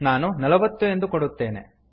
ನಾನು ನಲ್ವತ್ತು ಎಂದು ಕೊಡುತ್ತೇನೆ